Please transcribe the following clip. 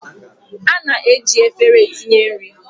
A na-eji efere etinye nri